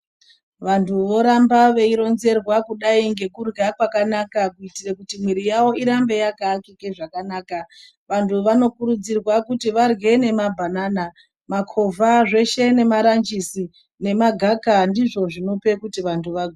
Vantu voramba veironzerwa kudai ngekurya zvakanaka kuitira kuti mwiri yawo irambe yakaakika zvakanaka vantu vanokurudzirwa varye nemabanana kubva zveshe nemaranjisi nemagaka ndizvo zvinomupa kuti vantu va.